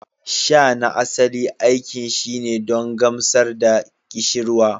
Sha na asali aikin shine don gamsar da ƙishirwa